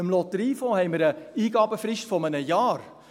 Beim Lotteriefonds haben wir eine Eingabefrist von einem Jahr.